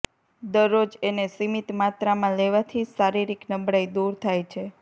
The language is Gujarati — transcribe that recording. દરરોજ એને સીમિત માત્રામા લેવાથી શારિરીક નબળાઇ દૂર થાય છે